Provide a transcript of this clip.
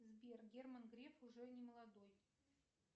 сбер герман греф уже не молодой